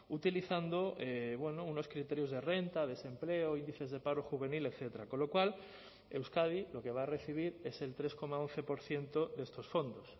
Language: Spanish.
utilizando unos criterios de renta desempleo índices de paro juvenil etcétera con lo cual euskadi lo que va a recibir es el tres coma once por ciento de estos fondos